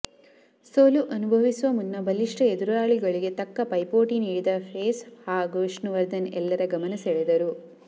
ಸೋಲು ಅನುಭವಿಸುವ ಮುನ್ನ ಬಲಿಷ್ಠ ಎದುರಾಳಿಗಳಿಗೆ ತಕ್ಕ ಪೈಪೋಟಿ ನೀಡಿದ ಪೇಸ್ ಹಾಗೂ ವಿಷ್ಣುವರ್ಧನ್ ಎಲ್ಲರ ಗಮನ ಸೆಳೆದರು